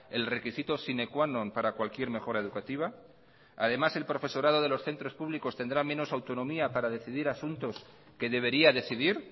el requisito sine qua non para cualquier mejora educativa además el profesorado de los centros públicos tendrá menos autonomía para decidir asuntos que debería decidir